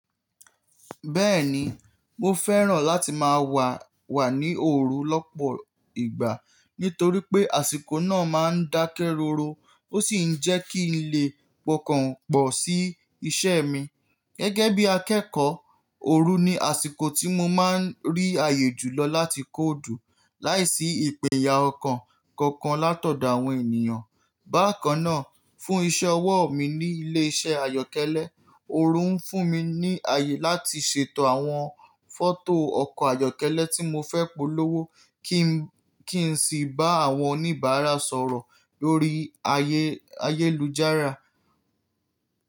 Bẹ́ẹ̀ni, mo fẹ́ràn láti máa wà wà ní òru lọ́pọ̀ ìgbà nítorí pé àsìkò náà máa ń dákẹ́ rọ́rọ́ ó sì ń jẹ́ kí n lè pokànpọ̀ sí iṣẹ́ mi. Gẹ́gẹ́ bí akẹ́kọ́, òru ni àsìkò tí mo máa ń rí ààyè jùlọ láti kóòdù láìsí ìpèyà ọ̀kan kankan latọdọ àwọn ènìyàn. Bákan náà, fún iṣẹ́ ọwọ́ mi ní ilé iṣẹ́ àyọ́kẹ́lẹ́, òru ń fún mi ní ààyè láti ṣètò àwọn fọ́tò ọkọ̀ àyọ́kẹ́lẹ́ tí mo fẹ́ polówó kí n sì bá àwọn oníbàárà sọ̀rọ̀ lórí ayélujára.